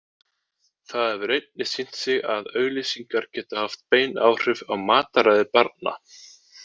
Það hefur einnig sýnt sig að auglýsingar geta haft bein áhrif á mataræði barna.